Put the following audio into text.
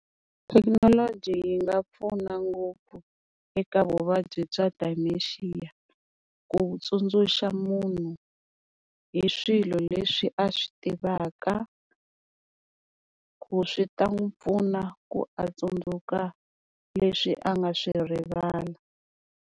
Thekinoloji yi nga pfuna ngopfu eka vuvabyi bya dementia ku tsundzuxa munhu hi swilo leswi a swi tivaka, ku swi ta n'wi pfuna ku a tsundzuka leswi a nga swi rivala.